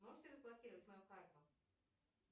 можете разблокировать мою карту